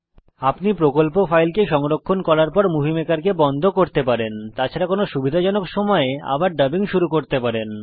আপনি প্রকল্প ফাইলকে সংরক্ষণ করার পর মুভি মেকারকে বন্ধ করতে পারেন তাছাড়া কোনো সুবিধাজনক সময়ে আবার ডাবিং শুরু করতে পারেন